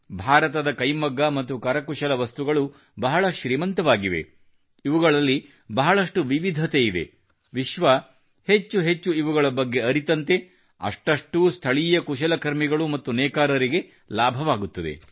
ಭಾರತದ ಕೈಮಗ್ಗ ಮತ್ತು ಕರಕುಶಲ ವಸ್ತುಗಳು ಬಹಳ ಶ್ರೀಮಂತವಾಗಿವೆ ಇವುಗಳಲ್ಲಿ ಬಹಳಷ್ಟು ವಿವಿಧತೆಯಿದೆ ವಿಶ್ವ ಹೆಚ್ಚೆಚ್ಚು ಇವುಗಳ ಬಗ್ಗೆ ಅರಿತಂತೆ ಅಷ್ಟಷ್ಟು ಸ್ಥಳೀಯ ಕುಶಲಕರ್ಮಿಗಳು ಮತ್ತು ನೇಕಾರರಿಗೆ ಲಾಭವಾಗುತ್ತದೆ